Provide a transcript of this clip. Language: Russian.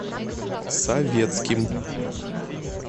советским